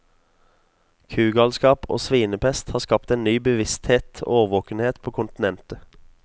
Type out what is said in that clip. Kugalskap og svinepest har skapt en ny bevissthet og årvåkenhet på kontinentet.